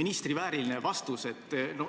ministri vääriline vastus.